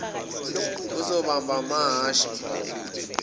uzobamba amahhashi mntakwethu